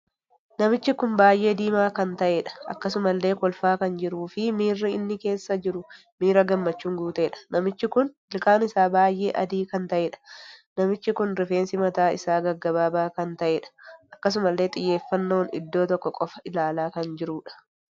Namichi kun baay'ee diimaa kan taheedha. akkasumallee kolfaa kan jiruu fi miirri inni keessa jiru miira gammachuun guuteedha. namichi kun ilkaan isaa baay'ee adii kan taheedha. namichi kun rifeensi mataa isaa gaggabaabaa kan taheedha. akkasumallee xiyyeffannoon iddoo tokko qofa ilaalaa kan jiruudha.